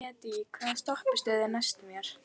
Hann yrði fölari og fölari, horaðri og horaðri.